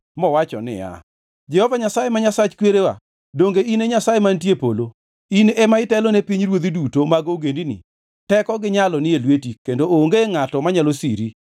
mowacho niya, “Jehova Nyasaye ma Nyasach kwerewa, donge in e Nyasaye mantie e polo? In ema itelone pinyruodhi duto mag ogendini. Teko gi nyalo ni e lweti, kendo onge ngʼato manyalo siri.